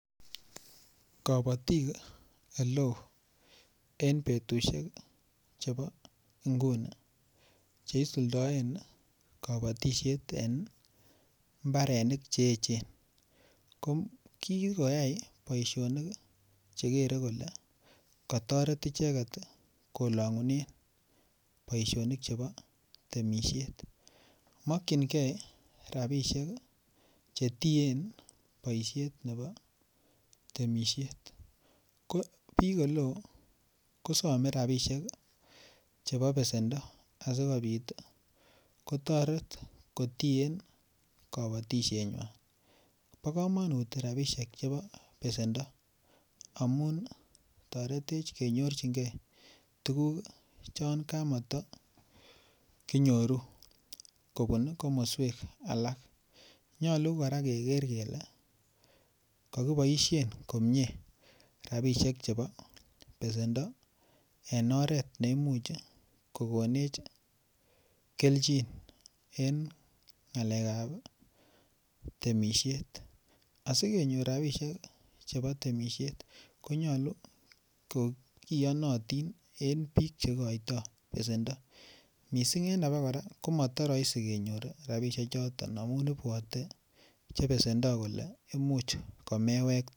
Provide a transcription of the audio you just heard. Kabatik oleo en betusiek chebo inguni Che isuldoen kabatisiet en mbarenik Che echen ko ki koyai boisionik Che kere kole kotoret icheget kolongunen boisionik chebo temisiet mokyingei rabisiek Che tien boisiet nebo temisiet ko bik oleo ko some rabisiek chebo besendo asikobit kotoret kotien kabatisienywan bo kamanut rabisiek chebo besendo amun toretech kenyorch tuguk chon kamato kinyoru kobun ko alak nyolu kora keger kele ko kiboisien komie rabisiek chebo besendo en oret ne imuch kokonech kelchin en ngalekab temisiet asikenyor rabisiek chebo temisiet ko nyolu kogiyonotin en bik Che igoitoi besendo mising en abakora komotoroisi kenyor rabisiechuto amun ibwote Che besendo kole Imuch komewekte